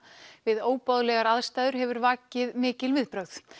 við óboðlegar aðstæður hefur vakið mikil viðbrögð